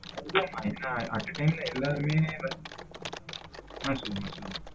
நிஜாம் தான் மா at a time எல்லாருமே உம் சொல்லுமா சொல்லுமா.